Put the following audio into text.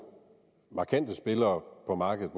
markante spillere på markedet